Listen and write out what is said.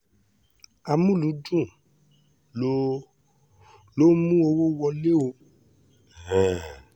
amúlùúdùn ló ló ń mú owó wọlé o um